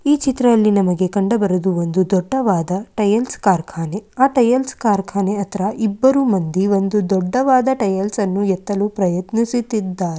ಈ ಚಿತ್ರದಲ್ಲಿ ನಮಗೆ ಕಂಡುಬರುವುದು ಒಂದು ದೊಡ್ಡವಾದ ಟೈಲ್ಸ್‌ ಕಾರ್ಖಾನೆ ಆ ಟೈಲ್ಸ್‌ ಕಾರ್ಖಾನೆ ಹತ್ತಿರ ಇಬ್ಬರು ಮಂದಿ ಒಂದು ದೊಡ್ಡದಾದ ಟೈಲ್ಸ್‌ನ್ನು ಎತ್ತಲು ಪ್ರಯತ್ನಿಸುತ್ತಿದ್ದಾರೆ.